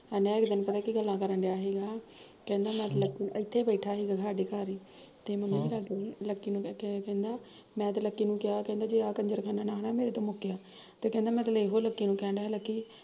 ਏਹ ਨਾ ਇੱਕ ਦਿਨ ਪਤਾ ਕੀ ਗੱਲ ਕਰਣ ਡਿਆ ਸੀਗਾ, ਕਹਿੰਦਾ ਮੈਂ ਤਾਂ ਇੱਥੇ ਈ ਬੈਠਾ ਸੀਗਾ ਸਾਡੇ ਘਰ ਈ, ਤੇ ਮੈਨੂੰ ਲਕੀ ਲਕੀ ਨੂੰ ਕਹਿੰਦਾ, ਮੈਂ ਤਾਂ ਲਕੀ ਨੂੰ ਕਿਹਾ ਕਹਿੰਦਾ ਜੇ ਆਹ ਕੰਜਰਖਾਨਾ ਨਾ ਨਾ ਮੇਰੇ ਤੋਂ ਮੁੱਕਿਆ, ਤੇ ਕਹਿੰਦਾ ਮੈਂ ਤਾਂ ਇਹੋ ਲਕੀ ਨੂੰ ਕਹਿਣ ਡੀਆ ਸੀ ਕਿ ਕੀ ਲਕੀ